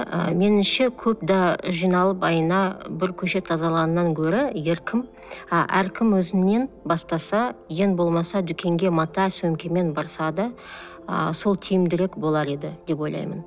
ы меніңше көп да жиналып айына бір көше тазалағаннан гөрі а әркім өзінен бастаса ең болмаса дүкенге мата сөмкемен барса да ы сол тиімдірек болар еді деп ойлаймын